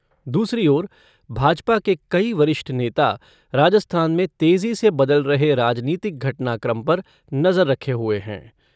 दूसरी ओर भाजपा के कई वरिष्ठ नेता राजस्थान में तेजी से बदल रहे राजनीतिक घटनाक्रम पर नजर रखे हुए है।